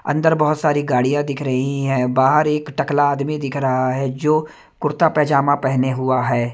अंदर बहोत सारी गाड़ियां दिख रहीं हैं बाहर एक टकला आदमी दिख रहा है जो कुर्ता पजामा पहने हुआ है।